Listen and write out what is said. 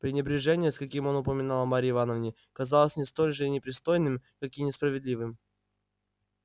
пренебрежение с каким он упоминал о марье ивановне казалось мне столь же непристойным как и несправедливым